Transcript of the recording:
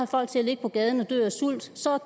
folk til at ligge på gaden og dø af sult så